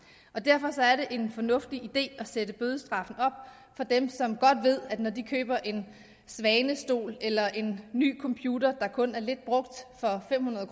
og derfor er det en fornuftig idé at sætte bødestraffene op for dem som godt ved at når de køber en svanestol eller en computer der kun er lidt brugt for fem hundrede